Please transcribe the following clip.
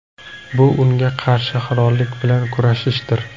Bu unga qarshi halollik bilan kurashishdir.